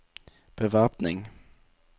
bevæpning